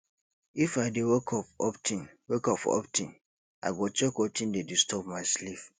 if i dey wake up of ten wake up of ten i go check wetin dey disturb my sleep